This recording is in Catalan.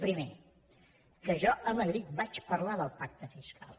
primer que jo a madrid vaig parlar del pacte fiscal